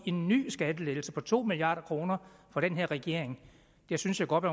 en ny skattelettelse på to milliard kroner fra den her regering der synes jeg godt